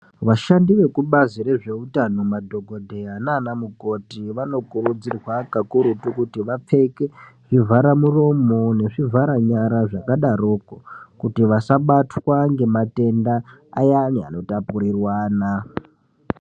Vashandi vezvekubazi reutano madhokodheya naana mukoti vanokurudzirwa kuti vapfeke zvivhara muroom nezvivhara nyara zvakadaro kuti vasabatwa ngematenda ayani anotapurirwana.